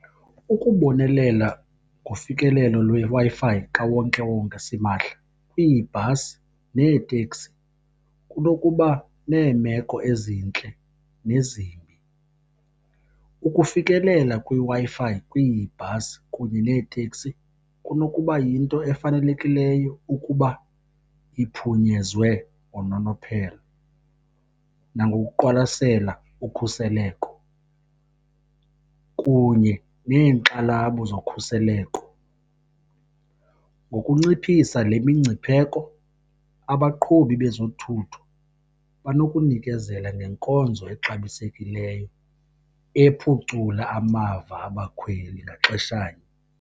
Ukubonelela ngofikelelo lweWi-Fi kawonkewonke simahla kwiibhasi neeteksi kunokuba neemeko ezintle nezimbi. Ukufikelela kwiWi-Fi kwiibhasi kunye neeteksi kunokuba yinto efanelekileyo ukuba iphunyezwe ngononophelo nangokuqwalasela ukhuseleko kunye neenxalabo zokhuseleko. Ngokunciphisa le mingcipheko abaqhubi bezothutho banokunikezela ngenkonzo exabisekileyo ephucula amava abakhweli ngaxeshanye.